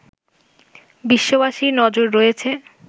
বিশ্ববাসীর নজর রয়েছে